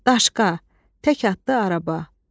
Daşqa, tək atlı araba.